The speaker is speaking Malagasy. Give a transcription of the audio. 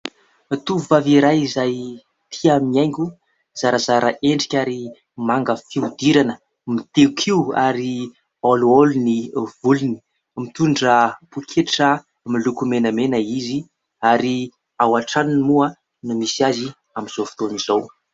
Tovovavy iray izay tia mihaingo, zarazara endrika ary manga fihodirana, mitehin-kiho ary olioly ny volony. Mitondra pôketra miloko menamena izy ary ao an-tranony moa no misy azy amin'izao fotoana izao.